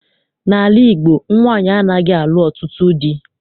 N'ala Igbo, nwaanyị anaghị alụ ọtụtụ dị.